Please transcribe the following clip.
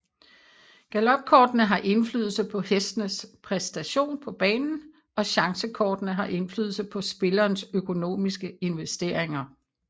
Galopkortene har indflydelse på hestenes præstation på banen og chancekortene har indflydelse på spillerens økonomiske investeringer